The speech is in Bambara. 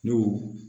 N'o